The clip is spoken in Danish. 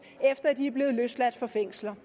efter at de er blevet løsladt fra fængsler